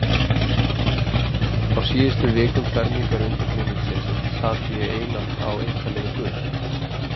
Á síðustu vikum fermingarundirbúningsins sat ég einatt á eintali við guð.